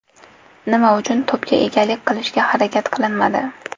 Nima uchun to‘pga egalik qilishga harakat qilinmadi?